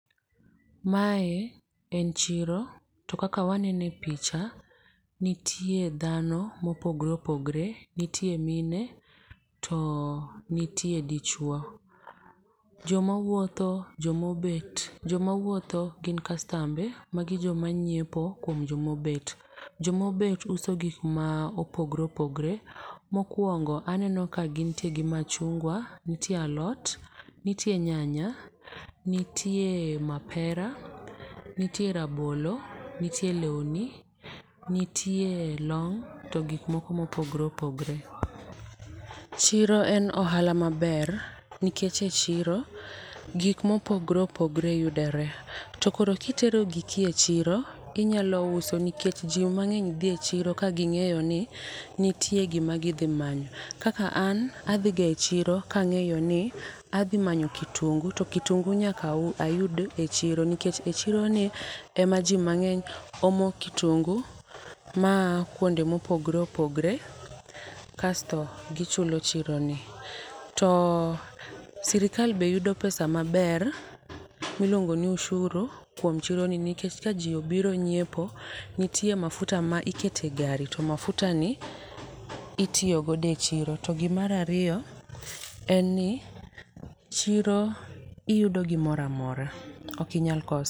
Mae en chiro to kaka wanene e picha nitie dhano mopogore opogore. Nitie mine to nitie dichuo. Joma wuotho joma obet. Joma wuotho gin kastambe. Magi joma nyiepo kuom joma obet. Joma obet uso gik ma opogore opogore. Mokwongo aneno ka gintie gi machunga, nitie alot, nitie nyanya, nitie mapera, nitie rabolo, nitie lweni, nitie long' to gik moko mopogore opogore. Chiro en ohala maber nikech e chiro gik mopogore opogore yudore. To koro kitero giki e chiro inyalo uso nikech ji mang'eny dhi e chiro ka ging'eyo ni nitie gima gidhi manyo. Kaka an adhi ga e chiro kang'eyo ni adhi manyo kitungu to kitungu nyaka ayud e chiro. Nikech e chiro ni ema ji mang'eny omo kitungu ma a kuonde mopogre opogre kasto gichulo chiro ni. To sirkal be yudo pesa maber miluongo ni ushuru kuom chiro ni nikech ka ji obiro nyiepo nitiere mafuta ma ikete gari to mafuta ni itiyo godo e chiro. To gi mar ariyo, en ni chiro iyudo gimoro amora. Ok inyal koso.